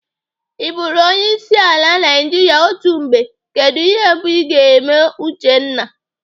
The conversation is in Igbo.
I bụrụ onyeisiala Naijiria otu mgbe, kedụ ihe mbụ Ị ga-eme Uchenna?